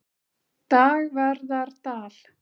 Dagverðardal